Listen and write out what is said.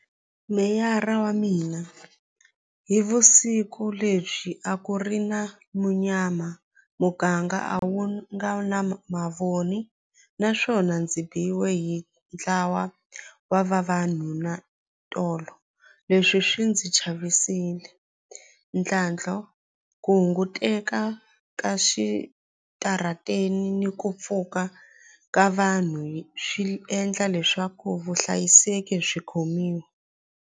Meyara wa mina hi vusiku lebyi a ku ri na munyama muganga a wu nga na mavoni naswona ndzi biwe hi ntlawa wa vavanuna tolo leswi swi ndzi chavisile ntlhantlho ku hunguteka ka xitarateni ni ku pfuka ka vanhu swi endla leswaku vuhlayiseki byi khomiwa.